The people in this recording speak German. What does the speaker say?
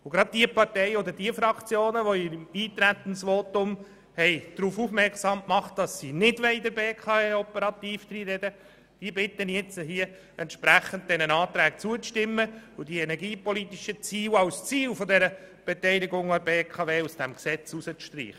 Und nun bitte ich gerade diejenigen Fraktionen, die im Eintretensvotum darauf aufmerksam gemacht haben, dass sie der BKW operativ nicht reinreden wollen, diesen Anträgen zuzustimmen und hier die energiepolitischen Ziele dieser Beteiligung zu streichen.